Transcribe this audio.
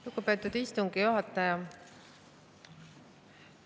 Lugupeetud istungi juhataja!